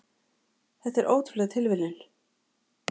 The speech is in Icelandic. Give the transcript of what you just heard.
Þetta er nú ótrúleg tilviljun.